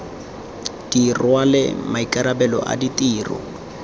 di rwale maikarabelo a ditiro